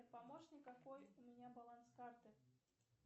помощник какой у меня баланс карты